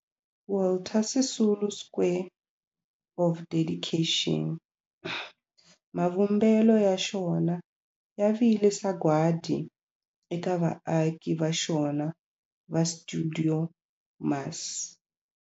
Walter Sisulu Square of Dedication, mavumbelo ya xona ya vile sagwadi eka vaaki va xona va stuidio MAS.